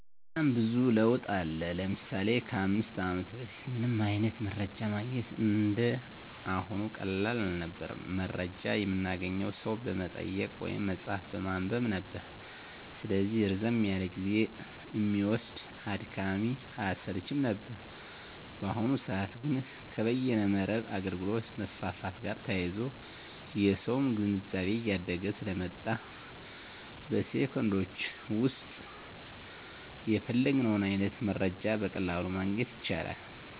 በጣም ብዙ ለውጥ አለ። ለምሳሌ ከ 5 አመት በፊት ምንም አይነት መረጃ ማግኘት እንደ አሁኑ ቀላል አልነበረም። መረጃ የምናገኘው ሰው በመጠየቅ ወይም መፅሀፍ በማንበብ ነበር። ስለዚህ ረዘም ያለ ጊዜ እሚወስድ፣ አድካሚ እና አሰልችም ነበር። በአሁኑ ሰዐት ግን ከበይነ መረብ አገልግሎት መስፋፋት ጋር ተያይዞ የሰውም ግንዛቤ እያደገ ስለመጣ በ ሴኮንዶች ዉስጥ የፈለግነውን አይነት መረጃ በቀላሉ ማግኘት ይቻላል።